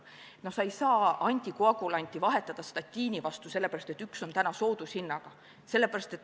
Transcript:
Sa ei saa antikoagulanti vahetada statiini vastu sellepärast, et see on täna soodushinnaga.